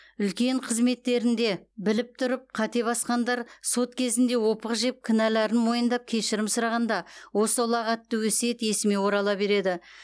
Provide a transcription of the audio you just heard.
үлкен қызметтерінде біліп тұрып қате басқандар сот кезінде опық жеп кінәлерін мойындап кешірім сұрағанда осы ұлағатты өсиет есіме орала береді